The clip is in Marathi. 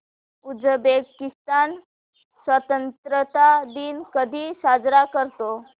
उझबेकिस्तान स्वतंत्रता दिन कधी साजरा करतो